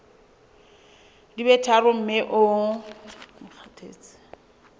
di be tharo mme o